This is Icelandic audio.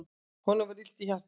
Honum var illt í hjartanu.